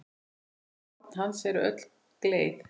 Horn hans eru öll gleið.